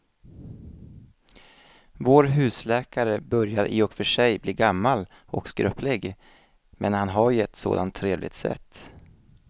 Vår husläkare börjar i och för sig bli gammal och skröplig, men han har ju ett sådant trevligt sätt!